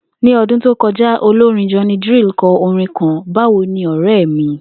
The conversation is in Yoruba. Ní o̩dún tó ko̩já, olorín Johnny Drille ko̩ orin kan ‘Báwo ni ò̩ré̩ mi’